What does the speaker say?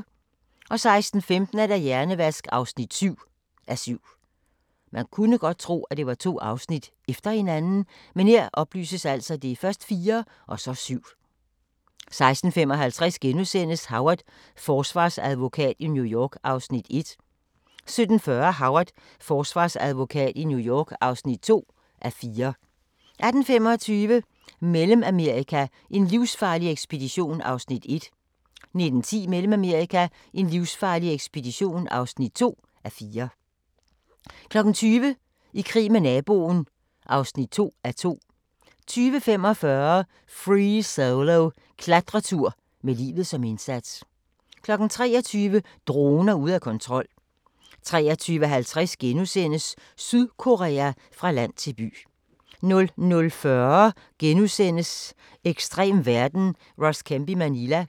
16:15: Hjernevask (7:7) 16:55: Howard – forsvarsadvokat i New York (1:4)* 17:40: Howard – forsvarsadvokat i New York (2:4) 18:25: Mellemamerika: en livsfarlig ekspedition (1:4) 19:10: Mellemamerika: en livsfarlig ekspedition (2:4) 20:00: I krig med naboen (2:2) 20:45: Free Solo – Klatretur med livet som indsats 23:00: Droner ude af kontrol 23:50: Sydkorea – fra land til by * 00:40: Ekstrem verden – Ross Kemp i Manila *